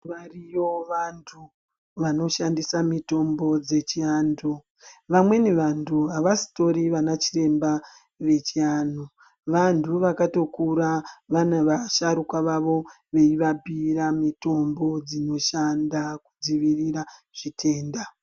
Variyo vantu vanoshandisa mitombo dzechi antu vamweni vantu ava sitori vana chiremba vechi anhu vantu vakato kura vane vashuraka vavo veyi vabhiira mitombo dzinoshanda kudzivirira zvitenda.